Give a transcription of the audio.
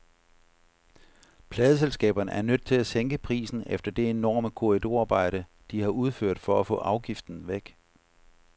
Pladeselskaberne er nødt til at sænke prisen efter det enorme korridorarbejde, de har udført for at få afgiften væk.